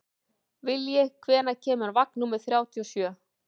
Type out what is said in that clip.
Vilji, hvenær kemur vagn númer þrjátíu og sjö?